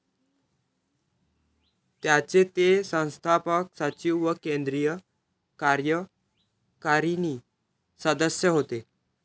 त्याचे ते संस्थापक सचिव व केन्द्रीय कार्यकारिणी सदस्य होते.